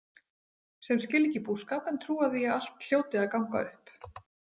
Sem skilja ekki búskap en trúa því að allt hljóti að ganga upp.